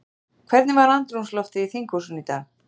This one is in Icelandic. Hvernig var andrúmsloftið í þinghúsinu í dag?